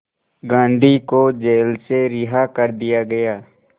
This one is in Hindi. गांधी को जेल से रिहा कर दिया गया